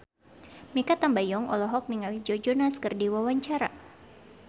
Mikha Tambayong olohok ningali Joe Jonas keur diwawancara